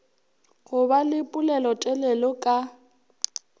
go ba le pelotelele ka